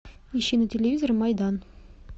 ищи на телевизоре майдан